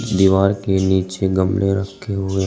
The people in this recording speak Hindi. दीवार के नीचे गमले रखे हुए हैं।